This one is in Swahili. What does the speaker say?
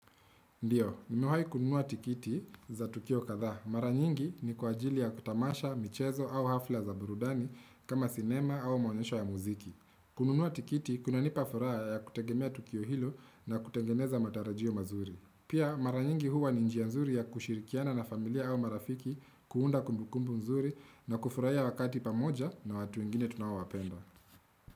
Ndiyo, nimewahi kununua tikiti za Tukio kadhaa. Maranyingi ni kwa ajili ya kutamasha, michezo au hafla za burudani kama sinema au maonyesho ya muziki. Kununua tikiti, kunanipa furaha ya kutegemea Tukio hilo na kutengeneza matarajio mazuri. Pia, maranyingi huwa ni njia nzuri ya kushirikiana na familia au marafiki kuunda kumbukumbu mzuri na kufurahia wakati pamoja na watu wengine tunaowapenda.